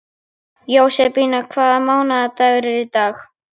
Jósebína, hvaða mánaðardagur er í dag?